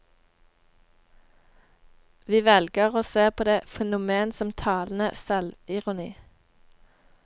Vi velger å se på det fenomen som talende selvironi.